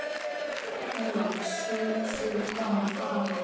Nú er sú skömm farin.